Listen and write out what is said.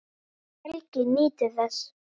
Helgi nýtur þess.